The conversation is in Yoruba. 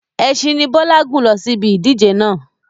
Ẹsin ni Bọlá gun lọ sí ibi ìdíje náà.